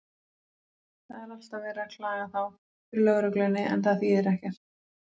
Það er alltaf verið að klaga þá fyrir lögreglunni, en það þýðir ekkert.